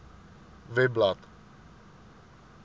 webblad